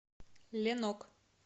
ленок